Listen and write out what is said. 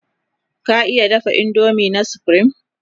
ka iya dafa indomie na supreme?